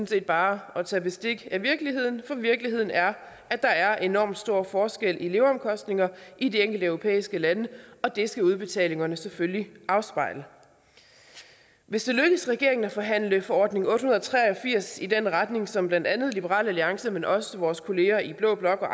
set bare at tage bestik af virkeligheden for virkeligheden er at der er enormt stor forskel i leveomkostninger i de enkelte europæiske lande og det skal udbetalingerne selvfølgelig afspejle hvis det lykkes regeringen at forhandle forordning otte hundrede og tre og firs i den retning som blandt andet liberal alliance men også vores kollegaer i blå blok og